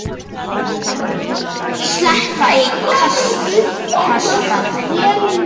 Steppa í Kasakstan.